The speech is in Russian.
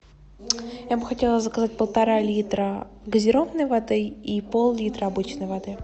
я бы хотела заказать полтора литра газированной воды и поллитра обычной воды